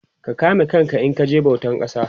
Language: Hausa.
ka kame kanka in kaje bautan kasa